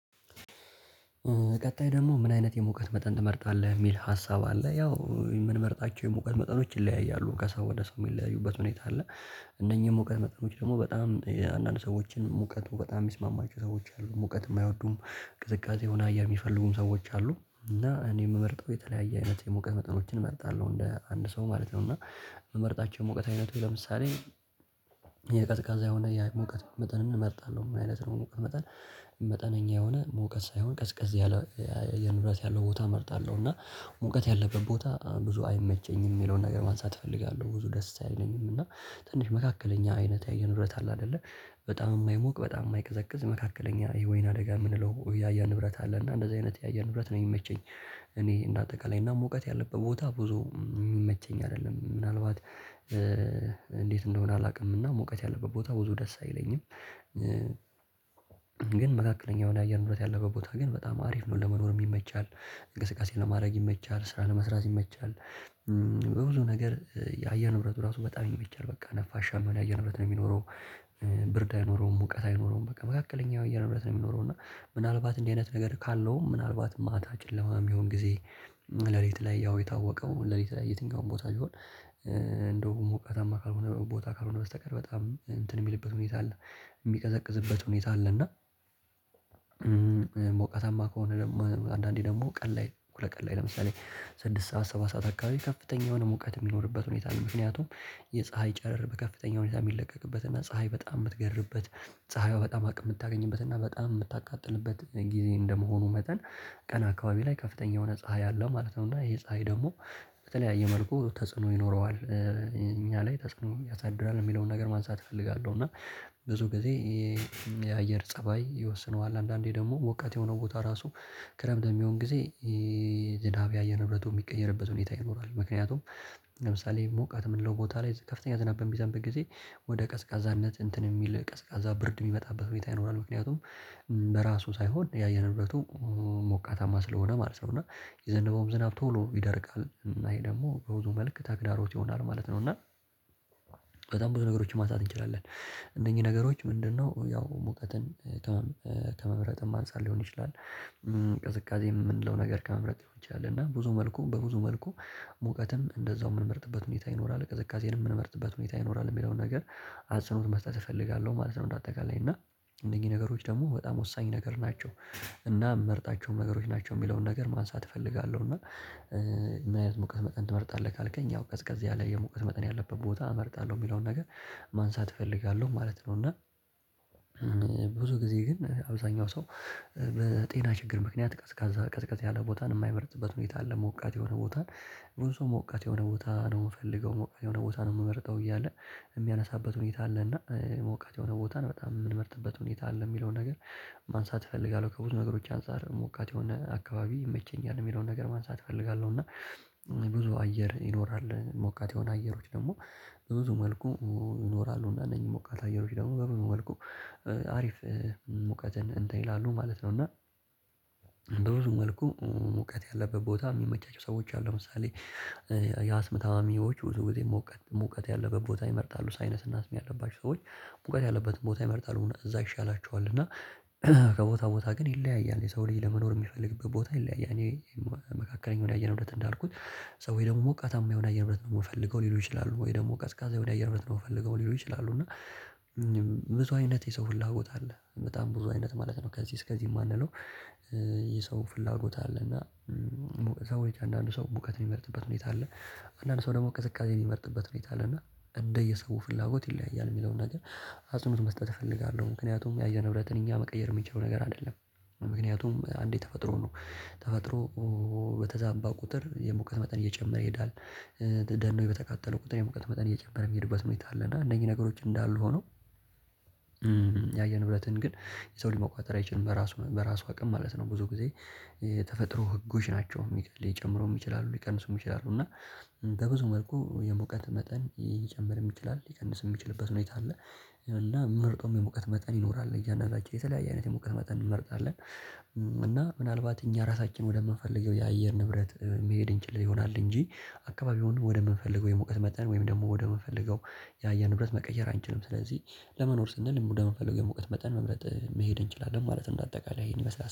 ቀጣይ ደግሞ ምን? አይነት የሙቀት መጠን ትመርጣለህ ሚል ሀሳብ አለ ያው ምንመርጣቸው የመቁት መጠኖች ይለያያሉ ከሰው ወደ ሰው የሚለያዩበት ሁኔታ አለ። እነኚህ ሙቀት መጠኖች ደግሞ በጣም የአንዳንድ ሰዎችን ሙቀቱ በጣም ሚስማማቸው ሰዎች አሉ ሙቀት የማይወዱም ቅዝቃዜ ሁላ የሚፈልጉም ሰዎች አሉ። እና እኔ የምመርጠው የተለያየ አይነት የሙቀት መጠኖችን እመርጣለሁ እንደ አንድ ሰው ማለት ነው። እና። ምመርጣቸው ሙቀት አይነቶች ለምሳሌ የቀዝቃዛ የሆነ የሙቀት መጠንን እመርጣለሁ። ምን አይነት ነው ሙቀት መጠን? መጠነኛ የሆነ ሙቀት ሳይሆን ቀዝቀዝ ያለ የኑረት ያለው ቦታ እመርጣለሁ። እና ሙቀት ያለበት ቦታ ብዙ አይመቸኝም ሚለውን ነገር ማንሳት እፈልጋለሁ። ብዙ ደስ አይለኝም። እና ትንሽ መካከለኛ አይነት የአየር ንብረት አለ? አይደለ በጣም የማይሞቅ በጣም የማይቀዘቅዝ መካከለኛ የወይን አደጋ የምንለው የአየር ንብረት አለ። እና እንደዚህ አይነት የአየር ንብረት ነው የሚመቸኝ። እኔ እንደ አጠቃላይ እና ሙቀት ያለበት ቦታ ብዙ የምመቸኝ አይደለም። ምናልባት እንዴት እንደሆነ አላውቅምና ሞቃት ያለበት ቦታ ብዙ ደስ አይለኝም። እ ግን መካከለኛ የሆነ አየር ንብረት ያለበት ቦታ ግን በጣም አሪፍ ነው ለመኖርም ይመቻል እንቅስቃሴ ለማድረግ ይመቻል ስራ ለመስራት ይመቻል። በብዙ ነገር የአየር ንብረቱ እራሱ በጣም ይመቻል በቃ ነፋሻ የሚሆን አየር ንብረት ነው የሚኖረው። ብርድ አይኖረውም ሙቀት አይኖረውም በቃ መካከለኛ የአየር ንብረት ነው የሚኖረው። እና ምናልባት እንዲህ አይነት ነገር ካለውም ምናልባት ማታ ጨለማ የሚሆን ጊዜ ሌሊት ላይ ያው የታወቀው ሌሊት ላይ የትኛውም ቦታ ሲሆን እንደው ሞቃታማ ካልሆነ ቦታ ካልሆነ በስተቀር በጣም እንትን የሚልበት ሁኔታ አለ። የሚቀዘቅዝበት ሁኔታ አለ። እና ሞቃታማ ከሆነ ደግሞ አንዳንዴ ደግሞ ቀን ላይ ሁለት ቀን ላይ ለምሳሌ ስድስት ሰዓት ሰባት ሰዓት አካባቢ ከፍተኛ የሆነ ሙቀት የሚኖርበት ሁኔታ ነው። ምክንያቱም የፀሀይ ጨረር በከፍተኛ ሁኔታ የሚለቀቅበት እና ፀሀይ በጣም የምትገርብበት ፀሀይዋ በጣም አቅም ምታገኝበት እና በጣም ምታቃጥልበት ጊዜ እንደመሆኑ መጠን ቀን አካባቢ ላይ ከፍተኛ የሆነ ፀሀይ አለው ማለት ነው። እና ይሄ ፀሀይ ደግሞ በተለያየ መልኩ ተጽዕኖ ይኖረዋል እኛ ላይ ተጽእኖን ያሳድራል የሚለውን ነገር ማንሳት እፈልጋለሁ። እና ብዙ ጊዜ የአየር ፀባይ ይወስነዋል አንዳንዴ ደግሞ ሙቀት የሆነው ቦታ ራሱ ክረምት በሚሆን ጊዜ የዝናብ የአየር ንብረቱ የሚቀየርበት ሁኔታ ይኖራል። ምክንያቱም ለምሳሌ ሙቀት ምንለው ቦታ ላይ ከፍተኛ ዝናብ በሚዘንብበት ጊዜ ወደ ቀዝቃዛነት እንትን የሚል ቀዝቃዛ ብርድ የሚመጣበት ሁኔታ ይኖራል። ምክንያቱም በራሱ ሳይሆን የአየር ንብረቱ ሞቃታማ ስለሆነ ማለት ነው። እና የዘነበውም ዝናብ ቶሎ ይደርቃል እና ይሄ ደግሞ በብዙ መልክ ተግዳሮት ይሆናል ማለት ነው። እና በጣም ብዙ ነገሮችን ማንሳት እንችላለን። እነኚህ ነገሮች ምንድነው? ያው ሙቀትን ከመምረጥም አንፃር ሊሆን ይችላል። ቅዝቃዜ የምንለው ነገር ከመምረጥ ሊሆን ይሆናል እና ብዙ መልኩ በብዙ መልኩ ሙቀትም እንደዛው ምንመርጥበት ሁኔታ ይኖራል ቅዝቅዜንም ምንመርጥበት ሁኔታ ይኖራል የሚለውን ነገር አጽንኦት መስጠት እፈልጋለሁ ማለት ነው። እንደ አጠቃላይ እና እነዚህ ነገሮች ደግሞ በጣም ወሳኝ ነገር ናቸው። እና ምመርጣቸውም ነገሮች ናቸው የሚለውን ነገር ማንሳት እፈልጋለሁ። እና ምን አይነት ሙቀት መጠን ትመርጣለህ? ካልከኝ ያው ቀዝቀዝ ያለ የሙቀት መጠን ያለበት ቦታ እመርጣለሁ የሚለውን ነገር ማንሳት እፈልጋለሁ ማለት ነው። እና ብዙ ግዜ ግን አብዛኛው ሰው በጤና ችግር ምክንያት ቀዝቃዛ ቀዝቀዝ ያለ ቦታን የማይበረጥበት ሁኔታ አለ። ሞቃት የሆነ ቦታን ብዙ ሰው ሞቃት የሆነ ቦታ ነው የምፈልገው የሆነ ቦታ ነው የምመርጠው እያለ የሚያነሳበት ሁኔታ አለ እና ሞቃት የሆነ ቦታን በጣም የምንመርጥበት ሁኔታ አለ። የሚለውን ነገር ማንሳት እፈልጋለሁ ከብዙ ነገሮች አንፃር ሞቃት የሆነ አካባቢ ይመቸኛል የሚለውን ነገር ማንሳት እፈልጋለሁ። እና ብዙ አየር ይኖራል ሞቃት የሆነ አየሮች ደግሞ በብዙ መልኩ ይኖራሉ። እና እነኚህ ሞቃት አየሮች ደግሞ በብዙ መልኩ አሪፍ ሙቀትን እንትን ይላሉ ማለት ነው። እና በብዙ መልኩ ሙቀት ያለበት ቦታ የሚመቻቸው ሰዎች አሉ። ለምሳሌ የአስም ታማሚዎች ብዙ ግዜ ሙቀት ሙቀት ያለበት ቦታ ይመርጣሉ። ሳይነስ እና አስም ያለባቸው ሰዎች ሙቀት ያለበትን ቦታ ይመርጣል እውነት እዛ ይሻላቸዋል። እና ከቦታ ቦታ ግን ይለያያል የሰው ልጅ ለመኖር የሚፈልግበት ቦታ ይለያያል። እኔ መካከለኛው የአየር ንብረት እንዳልኩት ሰዎች ደግሞ ሞቃታማ የሆነ የአየር ንብረት ነው የምፈልገው ሊሉ ይችላሉ። ወይም ደግሞ ቀዝቃዛ የሆነ የአየር ንብረት ነው የምፈልገው ሊሉ ይችላሉ። እና ብዙ አይነት የሰው ፍላጎት አለ በጣም ብዙ አይነት ማለት ነው። ከዚህ እስከዚህ የማንለው። የሰው ፍላጎት አለና። ሰዎች አንዳንዱ ሰው ሙቀት የሚመርጥበት ሁኔታ አለ። አንዳንድ ሰው ደግሞ ቅዝቃዜ የሚመርጥበት ሁኔታ አለ። እና እንደ የሰው ፍላጎት ይለያያል የሚለውን ነገር አጽንኦት መስጠት እፈልጋለሁ። ምክንያቱም የአየር ንብረትን እኛ መቀየር የሚችለው ነገር አይደለም። ምክንያቱም አንዴ ተፈጥሮ ነው። ተፈጥሮ በተዛባ ቁጥር የሙቀት መጠን እየጨመረ ይሄዳል። ደኖች በተቃጠሉ ቁጥር የሙቀት መጠን እየጨመረ እሚሄድበት ሁኔታ አለ። እና እነኚህ ነገሮች እንዳሉ ሆነው የአየር ንብረትን ግን የሰው ልጅ መቆጣጠር አይችልም። በራሱ በራሱ አቅም ማለት ነው። ብዙ ጊዜ ተፈጥሮ ህጎች ናቸው ሊ ሊጨምሩም ይችላሉ ሊቀንሱም ይችላሉ። እና በብዙ መልኩ የሙቀት መጠን ሊጨምርም ይችላል ይቀንስም ሚችልበት ሁኔታ አለ። እና ምመርጠውን የሙቀት መጠን ይኖራል። እያንዳንዳችን የተለያየ አይነት የሙቀት መጠን እንመርጣለን። እና ምናልባት እኛ ራሳችን ወደምንፈልገው የአየር ንብረት መሄድ እንችል ይሆናል እንጂ አካባቢውን ወደምንፈልገው የሙቀት መጠን ወይም ደግሞ ወደምንፈልገው የአየር ንብረት መቀየር አንችልም። ስለዚህ ለመኖር ስንል ወደምንፈልገው ሙቀት መጠን መምረጥ መሄድ እንችላለን ማለት እንደ አጠቃላይ ይሄን ይመስላል